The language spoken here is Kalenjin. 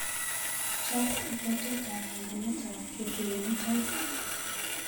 Chap kabwatetap panganetap ketuiyo mutai.